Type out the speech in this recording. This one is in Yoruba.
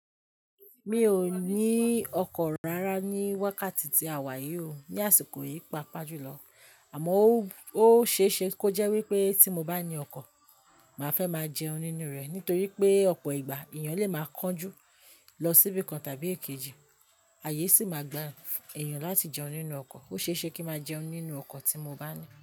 Mi ò ní ọkọ̀ rárá ní wákàtí tí a wà yìí o, ní àsìkò yìí pa pá jù lọ. Àmọ́ ó, ó ṣe é ṣe kó jẹ́ wípé tí mo bá ní ọkọ̀, màá fẹ́ máa jẹun nínú rẹ̀ nítorí pé ọ̀pọ̀ ìgbà èèyàn lè máa kánjú lọ síbí kan tàbí èkejì, àyè sì máa gba èèyàn láti jẹun nínú ọkọ̀. Ó ṣe é ṣe kí máa jẹun nínú ọkọ̀ tí mo bá ní.